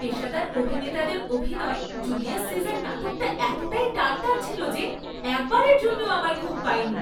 পেশাদার অভিনেতাদের অভিনয়ে 'জুলিয়াস সিজার' নাটকটা এতটাই টানটান ছিল যে একবারের জন্যও আমার ঘুম পায়নি।